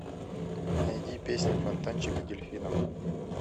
найди песня фонтанчик с дельфином